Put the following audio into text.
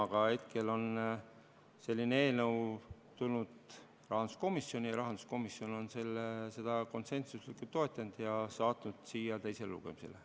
Aga hetkel on selline eelnõu tulnud rahanduskomisjoni ja rahanduskomisjon on seda konsensuslikult toetanud ja saatnud siia teisele lugemisele.